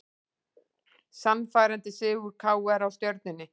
Sannfærandi sigur KR á Stjörnunni